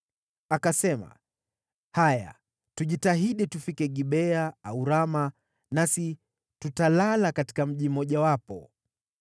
Akasema, “Haya, tujitahidi tufike Gibea au Rama, nasi tutalala katika mji mmojawapo.”